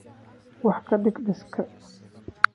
wax ka dheh liiska